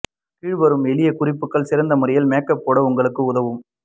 கீழ்வரும் எளிய குறிப்புகள் சிறந்த முறையில் மேக்கப் போட உங்களுக்கு உதவும்